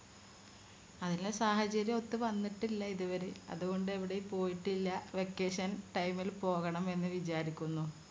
സാഹചര്യമൊത്ത് വന്നിട്ടില്ല ഇതുവരെ അതുകൊണ്ട് എവിടെയും പോയിട്ടില്ല vacatiton time ൽ പോകണം എന്ന് വിചാരിക്കുന്നു